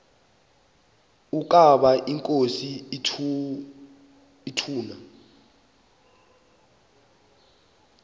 ukaba inkosi ituna